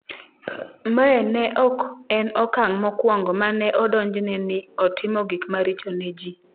Mae ne ok en okang’ mokwongo ma ne odonjne ni otimo gik maricho ne ji.